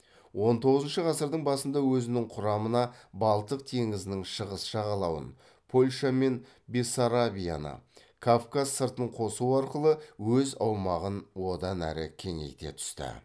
он тоғызыншы ғасырдың басында өзінің құрамына балтық теңізінің шығыс жағалауын польша мен бессарабияны кавказ сыртын қосу арқылы өз аумағын одан әрі кеңейте түсті